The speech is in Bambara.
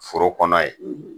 Foro kɔnɔ ye